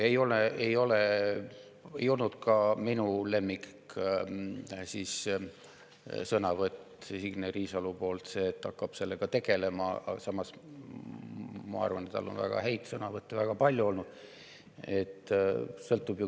Ei olnud see ka minu lemmiksõnavõtt Signe Riisalolt, kui ta ütles, et ta hakkab sellega tegelema, aga samas on tal minu arvates olnud ka väga palju väga häid sõnavõtte.